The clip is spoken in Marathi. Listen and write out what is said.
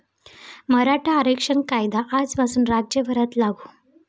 मराठा आरक्षण कायदा आजपासून राज्यभरात लागू